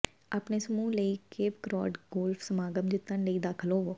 ਆਪਣੇ ਸਮੂਹ ਲਈ ਇੱਕ ਕੇਪ ਕਰੌਡ ਗੋਲਫ਼ ਸਮਾਗਮ ਜਿੱਤਣ ਲਈ ਦਾਖਲ ਹੋਵੋ